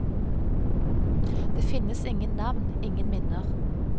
Det finnes ingen navn, ingen minner.